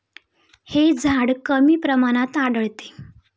हे झाड कमी प्रमाणात आढळते.